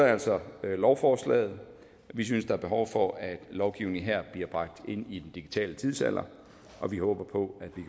altså lovforslaget vi synes der er behov for at lovgivningen her bliver bragt ind i den digitale tidsalder og vi håber på at vi